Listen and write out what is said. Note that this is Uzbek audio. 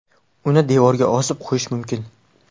Uni devorga osib qo‘yish mumkin.